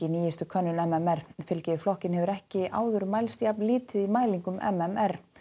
nýjustu könnun m m r fylgi við flokkinn hefur ekki áður mælst jafn lítið í mælingum m m r